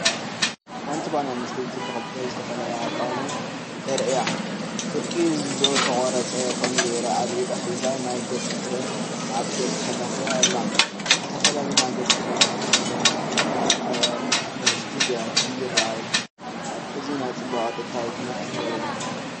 ሓንቲ ጓል ኣንስተይቲ ብኽልተ ዝተፈላለየ ኣቃውማ ተራእያ። ፍርቂ ዝተቖርጸ ኮሚደረ ኣብ ኢዳ ሒዛ ናይ ገጽ ክሬም ኣብ ገጻ ትለኽዮ ኣላ። ዝተፈላለዩ ናይ ገጽ ክሬማትን ኮሚደረን ኣብ ንኣሽቱ ብያቲ ይረኣዩ። እዚ ናይ ጽባቐን ጥዕናዊ ክንክንን የርኢ።